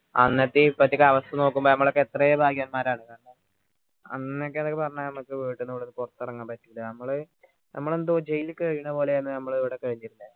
എന്നത്തേയും ഇപ്പത്തെയും അവസ്ഥ നോക്കുമ്പോ എത്രയോ ഭാഗ്യവാന്മാർ ആണ് അന്നൊക്കെ പറഞ്ഞാൽ നമ്മക്ക് വീട്ടിനുള്ളിന്ന് പുറത്തിറങ്ങാൻ പറ്റില്ല നമ്മൾ നമ്മൾ എന്തോ jail കഴിയുന്ന പോലെയാണോ നമ്മളിവിടെ കഴിഞിരുന്നേ